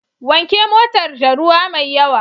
Wanke motar da ruwa mai yawa.